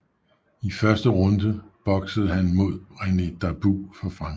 I første runde boksede han mod René Darbou fra Frankrig